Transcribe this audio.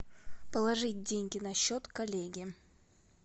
положить деньги на счет коллеге